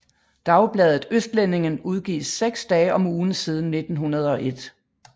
Dagbladet Østlendingen udgives seks dage om ugen siden 1901